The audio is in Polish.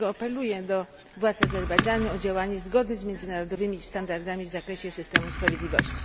Dlatego apeluję do władz Azerbejdżanu o działanie zgodne z międzynarodowymi standardami w zakresie systemu sprawiedliwości.